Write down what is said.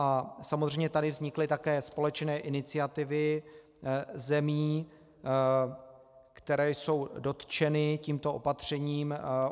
A samozřejmě tady vznikly také společné iniciativy zemí, které jsou dotčeny tímto opatřením.